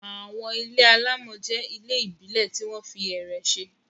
Àwọn ilé alámọ̀ jẹ́ ilé ìbílẹ̀ tí wọ́n fi ẹ̀rẹ̀ ṣe.